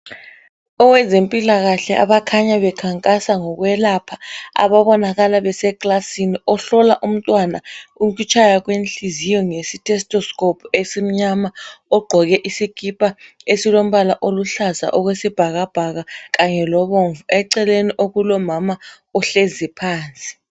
Owezempilakahle abakhanya bekhankasa ngokwelapha ababonakala besekilasini. Ohlola umtwana ukutshaya kwenhliziyo ngesi stethoscope esimnyama. Ogqoke isikipa esilombala oluhlaza okwesibhakabhaka Kanye lo bomvu. Eceleni okulomama ohlezi phansi.